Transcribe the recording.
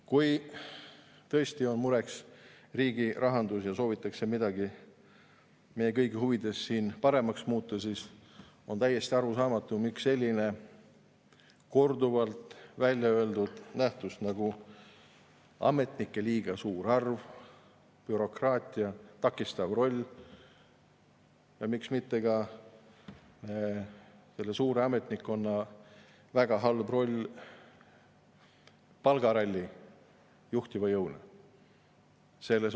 Kui tõesti on mureks riigi rahandus ja soovitakse meie kõigi huvides midagi paremaks muuta, siis on täiesti arusaamatu, miks me ei võta mitte midagi ette sellise korduvalt välja öeldud nähtusega nagu ametnike liiga suur arv, bürokraatia takistav roll, ja miks mitte ka selle suure ametnikkonna väga halb roll palgarallit juhtiva jõuna.